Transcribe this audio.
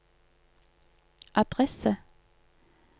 adresse